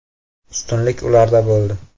Ustunlik ularda bo‘ldi.